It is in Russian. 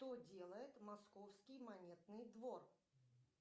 что делает московский монетный двор